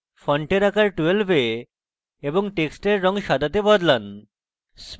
ফন্টের আকার 12 এ এবং টেক্সটের রঙ সাদাতে বদলান